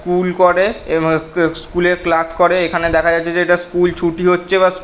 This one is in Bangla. স্কুল করে এবং আ - ক - স্কুল - এ ক্লাস করে এখানে দেখা যাচ্ছে যে এটা স্কুল ছুটি হচ্ছে বা --